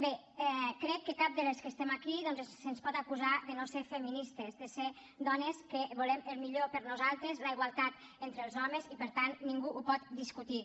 bé crec que a cap de les que estem aquí doncs se’ns pot acusar de no ser feministes de ser dones que volem el millor per a nosaltres la igualtat entre els homes i per tant ningú ho pot discutir